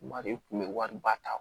Bari u tun bɛ wari ba ta